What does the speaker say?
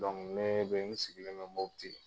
ne bɛ n sigilen don MOTI.